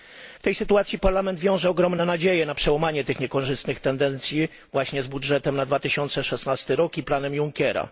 W tej sytuacji Parlament wiąże ogromne nadzieje na przełamanie tych niekorzystnych tendencji właśnie z budżetem na 2016 rok i planem Junckera.